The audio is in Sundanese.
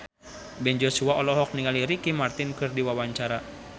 Ben Joshua olohok ningali Ricky Martin keur diwawancara